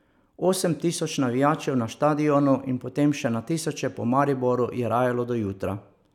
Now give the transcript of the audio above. Osem tisoč navijačev na štadionu in potem še na tisoče po Mariboru je rajalo do jutra.